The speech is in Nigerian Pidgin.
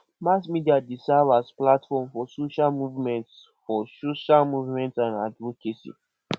mass media dey serve as platform for social movements for social movements and advocacy